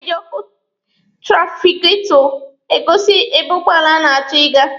A na-eji ọkụ trafigetọ egosi ebe ụgbọala na-achọ ịga.